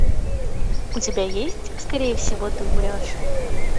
у тебя есть скорее всего ты умрешь